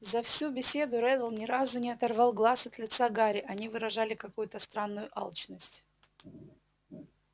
за всю беседу реддл ни разу не оторвал глаз от лица гарри они выражали какую-то странную алчность